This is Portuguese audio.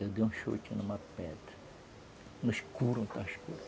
Eu dei um chute numa pedra, no escuro onde estava escuro.